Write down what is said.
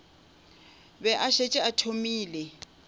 be a šetše a thomile